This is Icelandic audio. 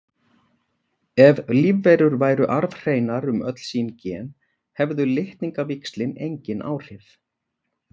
Ef lífverur væru arfhreinar um öll sín gen hefðu litningavíxlin engin áhrif.